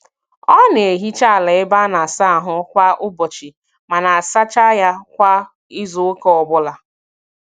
Ọ na-ehicha ala ebe a na-asa ahụ kwa ụbọchị ma na-asacha ya kwa izuụka ọbụla